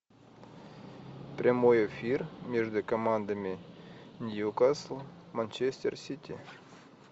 прямой эфир между командами ньюкасл манчестер сити